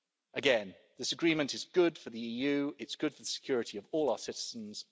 Again, this agreement is good for the EU, it's good for the security of all of our citizens.